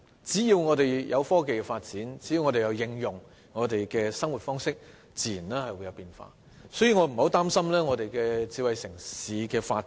只要我們把科技應用於生活，自然會出現變化，所以我並不擔心香港的智慧城市發展。